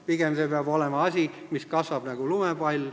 Pigem peab see olema asi, mis kasvab nagu lumepall.